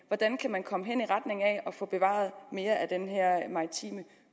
kan komme hen i retning af at få bevaret mere af den her maritime